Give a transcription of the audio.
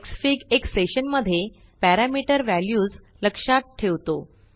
Xfig एक session मध्ये parameter values लक्षात ठेवतो